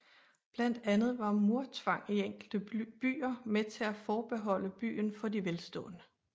Blandt andet var murtvang i enkelte byer med til at forbeholde byen for de velstående